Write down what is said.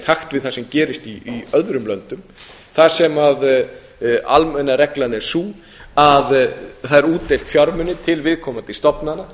takt við það sem gerist í öðrum löndum þar sem almenna reglan er sú að það er útdeilt fjármunum til viðkomandi stofnana